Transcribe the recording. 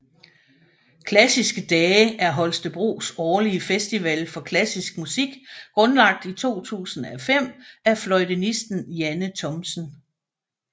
Klassiske Dage er Holstebros årlige festival for klassisk musik grundlagt i 2005 af fløjtenisten Janne Thomsen